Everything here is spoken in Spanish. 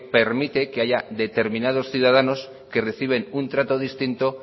permite que haya determinados ciudadanos que reciben un trato distinto